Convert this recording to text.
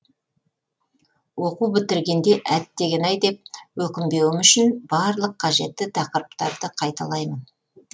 оқу бітіргенде әттеген ай деп өкінбеуім үшін барлық қажетті тақырыптарды қайталаймын